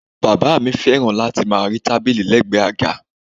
Bàbá mi fẹ́ràn láti máa rí tábìlì lẹgbẹ àga.